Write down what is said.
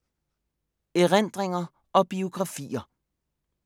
Erindringer og biografier